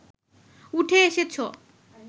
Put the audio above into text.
উঠে এসেছ